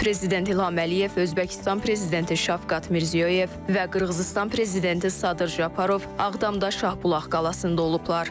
Prezident İlham Əliyev, Özbəkistan Prezidenti Şavkat Mirziyoyev və Qırğızıstan Prezidenti Sadır Japarov Ağdamda Şahbulaq qalasında olublar.